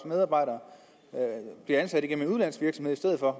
medarbejdere bliver ansat igennem en udenlandsk virksomhed i stedet for